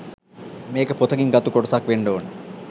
මේක පොතකින් ගත්තු කොටසක් වෙන්ඩ ඕන